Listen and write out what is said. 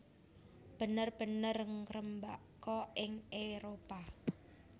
bener bener ngrembaka ing Éropah